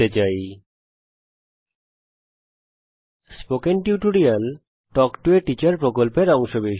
আমি spoken tutorial প্রকল্পকে ধন্যবাদ জানাই যা তাল্ক টো a টিচার প্রকল্পের অংশবিশেষ